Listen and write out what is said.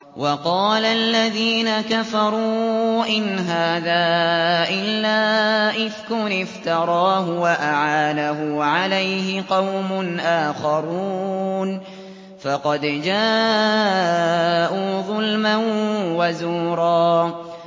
وَقَالَ الَّذِينَ كَفَرُوا إِنْ هَٰذَا إِلَّا إِفْكٌ افْتَرَاهُ وَأَعَانَهُ عَلَيْهِ قَوْمٌ آخَرُونَ ۖ فَقَدْ جَاءُوا ظُلْمًا وَزُورًا